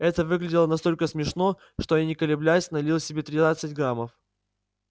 это выглядело настолько смешно что я не колеблясь налил себе тринадцать граммов